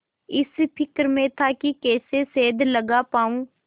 इस फिक्र में था कि कैसे सेंध लगा पाऊँ